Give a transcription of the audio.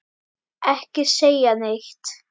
Ekki segja neitt!